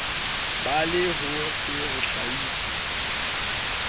ba le ho se hlahiswe